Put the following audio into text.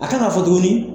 A kan ka fɔ tuguni